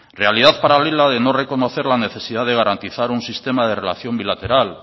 realidad paralela de no reconocer la necesidad de garantizar un sistema de relación bilateral